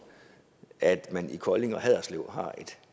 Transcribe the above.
at man i kolding og haderslev har et